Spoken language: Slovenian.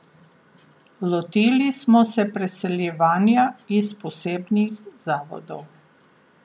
Lotili smo se preseljevanja iz posebnih zavodov.